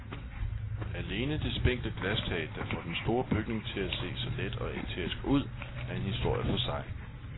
Alene det spinkle glastag, der får den store bygning til at se så let og æterisk ud, er en historie for sig.